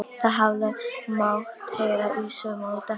Það hefði mátt heyra saumnál detta.